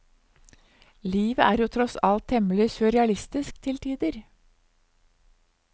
Livet er jo tross alt temmelig surrealistisk til tider.